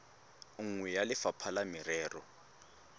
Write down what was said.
nngwe ya lefapha la merero